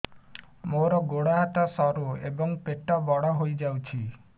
ମୋର ଗୋଡ ହାତ ସରୁ ଏବଂ ପେଟ ବଡ଼ ହୋଇଯାଇଛି